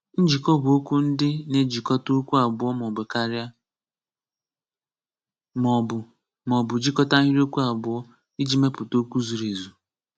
Njikọ bu okwu ndị na-ejikọta okwu abụọ maọbụ karịa, maọbụ maọbụ jikọta ahịrịokwu abụọ iji mepụta okwu zuru ezu.